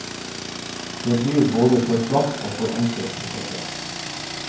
Det blir både for platt og for enkelt, dette.